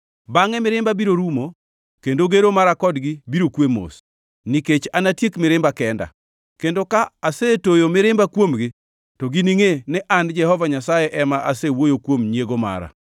“Bangʼe mirimba biro rumo kendo gero mara kodgi biro kwe mos, nikech anatiek mirimba kenda, kendo ka asetoyo mirimba kuomgi to giningʼe ni an Jehova Nyasaye ema asewuoyo kuom nyiego mara.